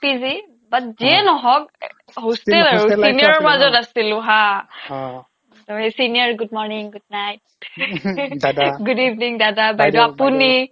PG but যিয়েই নহওক hostel আৰু senior ৰ মাজত আছিলো হা senior good morning good night good evening দাদা বাইদেউ আপুনি